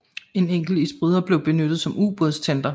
En enkelt isbryder blev benyttet som ubådstender